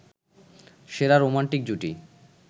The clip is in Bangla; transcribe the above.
সেরা রোমান্টিক জুটি